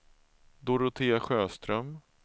Dorotea Sjöström